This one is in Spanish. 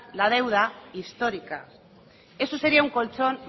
la deuda histórica eso sería un colchón